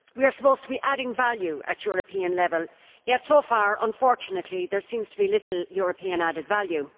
We are supposed to be adding value at European level and yet, so far, unfortunately, there seems to be little European added value.